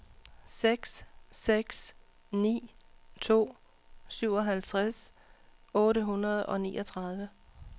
seks seks ni to syvoghalvtreds otte hundrede og niogtredive